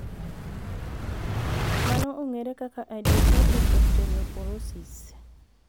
Mano ong'ere kaka idiopathic osteoporosis.